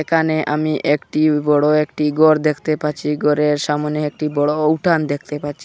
এখানে আমি একটি বড়ো একটি গর দেখতে পাচ্চি গরের সামোনে একটি বড়ো উঠান দেখতে পাচ্চি।